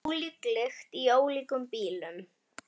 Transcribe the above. Ólík lykt í ólíkum bílum!